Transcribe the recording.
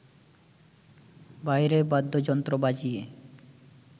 বাইরে বাদ্যযন্ত্র বাজিয়ে